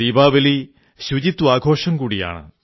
ദീപാവലി ശുചിത്വാഘോഷം കൂടിയാണ്